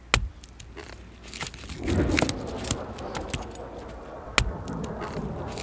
İşıqların yanıb sönməsi, yəni ildırımlar bir-birinə çaxması müşahidə olunub.